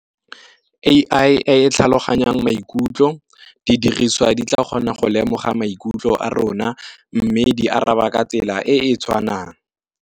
A_I e tlhaloganyang maikutlo, di diriswa di tla kgona go lemoga maikutlo a rona mme di araba ka tsela e e tshwanang.